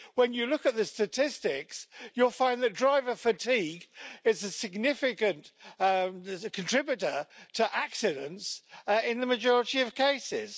When you look at the statistics, you'll find the driver fatigue is a significant contributor to accidents in the majority of cases.